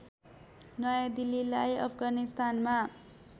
नयाँ दिल्लीलाई अफगानिस्तानमा